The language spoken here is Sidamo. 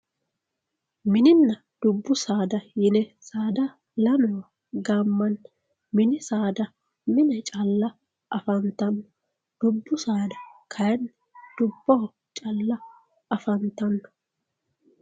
Mininna dubbu saada yine saada lamewa gaamani mini saada mine calla afantanno dubbu saada kayinni dubboho calla afantano